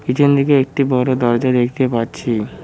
পিছন দিকে একটি বড় দরজা দেখতে পাচ্ছি।